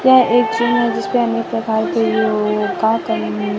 यह एक सीन जिसपे अनेक प्रकार के --